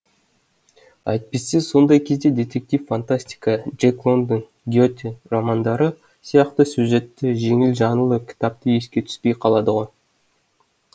әйтпесе сондай кезде детектив фантастика джек лондон гете романдары сияқты сюжетті жеңіл жанрлы кітаптар еске түспей қалады ғой